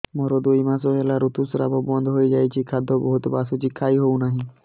ମୋର ଦୁଇ ମାସ ହେଲା ଋତୁ ସ୍ରାବ ବନ୍ଦ ହେଇଯାଇଛି ଖାଦ୍ୟ ବହୁତ ବାସୁଛି ଖାଇ ହଉ ନାହିଁ